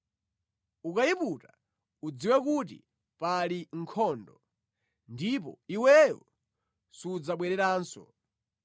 Ukayiputa udziwe kuti pali nkhondo, ndipo iweyo sudzabwereranso.